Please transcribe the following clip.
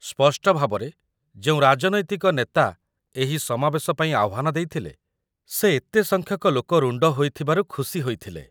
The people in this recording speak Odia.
ସ୍ପଷ୍ଟଭାବରେ, ଯେଉଁ ରାଜନୈତିକ ନେତା ଏହି ସମାବେଶ ପାଇଁ ଆହ୍ୱାନ ଦେଇଥିଲେ, ସେ ଏତେ ସଂଖ୍ୟକ ଲୋକ ରୁଣ୍ଡ ହୋଇଥିବାରୁ ଖୁସି ହୋଇଥିଲେ